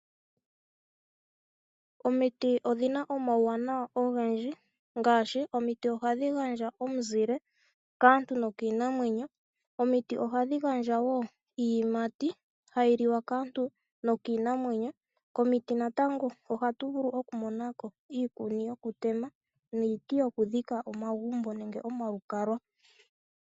Omiti odhina omawuwanawa ogendji ngaashi, omiti ohadhi gadja omuzile kaantu nokiinamwenyo. Omiti ohadhi gadja wo iiyimati hayiliwa kaantu nokiinamwenyo. Komiti natango ohatuvulu okumonako iikuni yokutema niiti yokudhika omagumbo nenge omalukalwa.